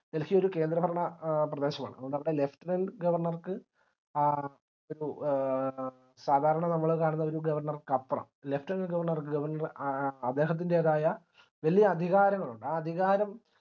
delhi കേന്ദ്ര ഭരണ പ്രദേശമാണ് അതുകൊണ്ടവിടെ lieutenant ഗവർണർക്ക് ആ ഒരു സാധാരണ നമ്മള് കാണുന്ന ഒരു ഗവർണർക്ക് അപ്പറം lieutenant ഗവർണർക്ക് അദ്ദേഹത്തിന്റേതായ വല്യ അധികാരങ്ങളുണ്ട് ആ അധികാരം